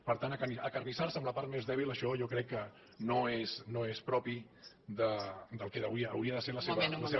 per tant acarnissar se amb la part més dèbil això jo crec que no és propi del que avui hauria de ser la seva